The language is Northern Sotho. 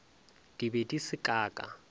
di be di se kaka